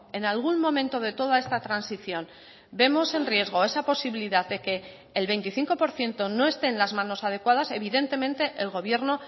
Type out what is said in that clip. en algún momento de toda esta transición vemos en riesgo esa posibilidad de que el veinticinco por ciento no esté en las manos adecuadas evidentemente el gobierno